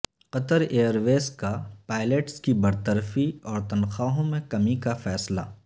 قطر airways کا pilots کی برطرفی اور تنخواہوں میں کمی کا فیصلہ